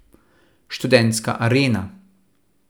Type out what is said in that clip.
Študentska arena.